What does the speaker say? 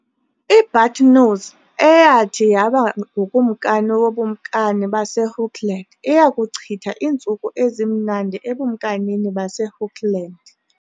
I-Buttonnose, eyathi yaba ngukumkani woBukumkani baseHookland, iya kuchitha iintsuku ezimnandi eBukumkanini baseHookland [